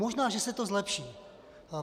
Možná že se to zlepší.